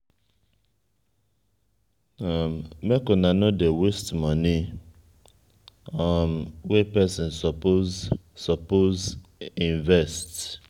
make una nor dey waste moni um wey pesin suppose suppose invest.